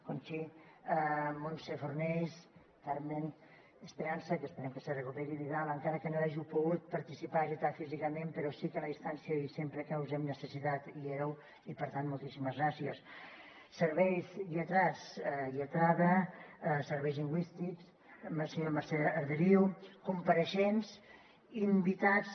conchi montse fornells carmen esperanza que esperem que se recuperi vidal encara que no hàgiu pogut participar és veritat físicament però sí que en la distància i sempre que us hem necessitat hi éreu i per tant moltíssimes gràcies serveis lletrats lletrada serveis lingüístics senyora mercè arderiu compareixents invitats